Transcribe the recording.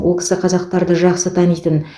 ол кісі қазақтарды жақсы танитын